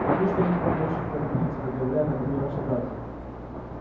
ты видишь что я не такой ещё кровопийца как говорят обо мне ваши братья